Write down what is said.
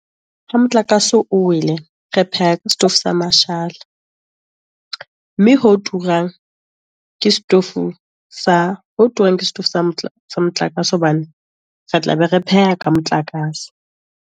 Ha motlakase o wele, re pheha ka setofo sa mashala, mme ho turang ke setofo sa ho turang ke setofo sa sa motlakase, hobane re tla be re pheha ka motlakase.